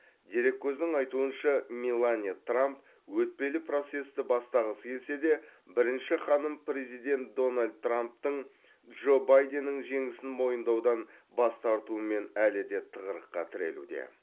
дереккөздің айтуынша меланья трамп өтпелі процесті бастағысы келсе де бірінші ханым президент дональд трамптың джо байденнің жеңісін мойындаудан бас тартуымен әлі де тығырыққа тірелуде